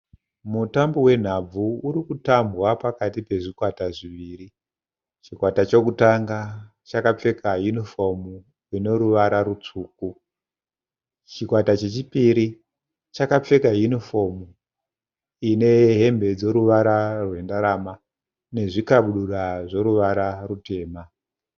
Mutambo wenhabvu urikutambwa pakati pezvikwata zviviri. Chikwata chokutanga chakapfeka yinifomu inoruvara rutsvuku. Chikwata chechipiri chakapfeka yinifomu inehembe dzoruvara rwendarama nezvikabudura zvoruvara rutema.